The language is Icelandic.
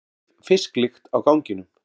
Dauf fisklykt á ganginum.